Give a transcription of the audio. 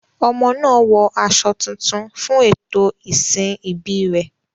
Ọmọ náà wọ aṣọ tuntun fún ètò ìsìn ìbí rẹ̀.